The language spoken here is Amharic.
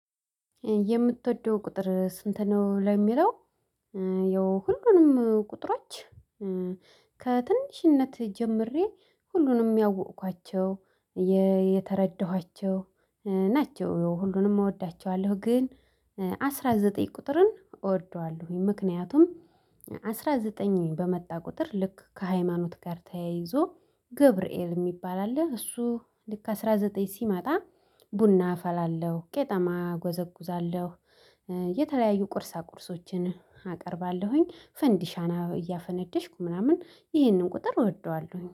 የምትወደው ቁጥር ስንት ነው ለሚለው? ያው ሁሉንም ቁጥሮች ከትንሽነት ጀምሬ ሁሉንም ያወኳቸው የተረዳኋቸው ናቸው ሁሉንም እወዳቸዋለሁ። ግን አስራ ዘጠኝ ቁጥርን እወደዋለሁኝ። ምክንያቱም አስራ ዘጠኝ በመጣ ቁጥር ልክ ከሃይማኖት ጋር ተያይዞ ገብርኤል የሚባል አለ እሱ ልክ አስራ ዘጠኝ ሲመጣ ቡና አፈላለሁ ቄጠማ ጎዘጉዛለሁ። የተለያዩ ቁርሳ ቁርሶችን አቀርባለሁኝ ፈንዲሻና እያፈነደሽኩ ምናምን ይሄንን ቁጥር እወደዋለሁ።